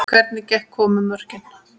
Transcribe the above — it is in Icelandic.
Hvernig komu mörkin?